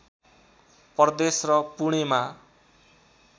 प्रदेश र पुणेमा